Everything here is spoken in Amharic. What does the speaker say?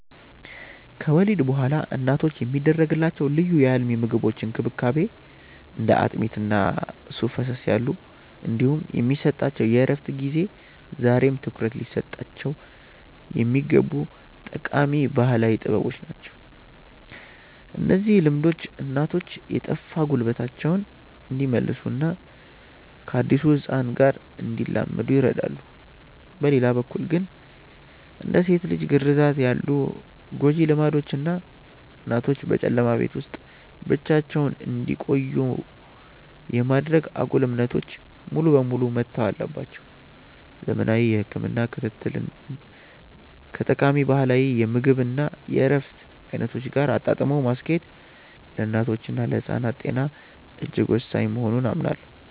ከወሊድ በኋላ እናቶች የሚደረግላቸው ልዩ የአልሚ ምግቦች እንክብካቤ (እንደ አጥሚት እና ሱፍ ፈሰስ ያሉ) እንዲሁም የሚሰጣቸው የእረፍት ጊዜ ዛሬም ትኩረት ሊሰጣቸው የሚገቡ ጠቃሚ ባህላዊ ጥበቦች ናቸው። እነዚህ ልምዶች እናቶች የጠፋ ጉልበታቸውን እንዲመልሱና ከአዲሱ ህፃን ጋር እንዲላመዱ ይረዳሉ። በሌላ በኩል ግን፣ እንደ ሴት ልጅ ግርዛት ያሉ ጎጂ ልማዶች እና እናቶችን በጨለማ ቤት ውስጥ ብቻ እንዲቆዩ የማድረግ አጉል እምነቶች ሙሉ በሙሉ መተው አለባቸው። ዘመናዊ የህክምና ክትትልን ከጠቃሚ ባህላዊ የምግብ እና የእረፍት አይነቶች ጋር አጣጥሞ ማስኬድ ለእናቶችና ለህፃናት ጤና እጅግ ወሳኝ መሆኑን አምናለሁ።